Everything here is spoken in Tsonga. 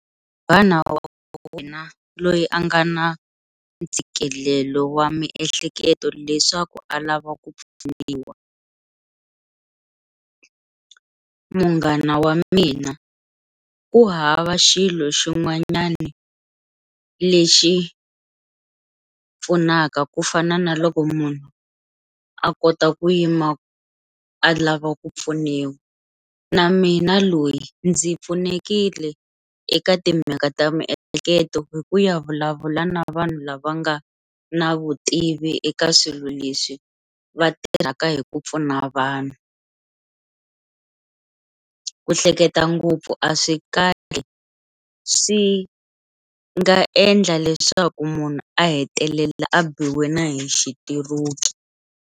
Munghana wa wena loyi a nga na ntshikelelo wa miehleketo leswaku a lava ku pfuniwa, munghana wa mina ku hava xilo xin'wanyani lexi pfunaka ku fana na loko munhu a kota ku yima a lava ku pfuniwa na mina loyi ndzi pfunekile eka timhaka ta miehleketo hi ku ya vulavula na vanhu lava nga na vutivi eka swilo leswi va tirhaka hi ku pfuna vanhu, ku hleketa ngopfu a swi kahle swi nga endla leswaku munhu a hetelela a biwe na hi xitiroki.